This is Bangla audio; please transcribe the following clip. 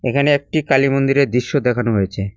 এখানে একটি কালি মন্দিরের দৃশ্য দেখানো হয়েছে।